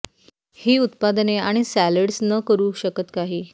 ही उत्पादने आणि सॅलड्स न करू शकत नाही